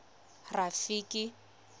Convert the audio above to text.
rafiki